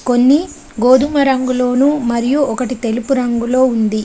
కొన్ని గోధుమ రంగులోనూ మరియు ఒకటి తెలుపు రంగులో ఉంది.